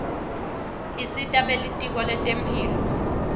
isita belitiko letemphilo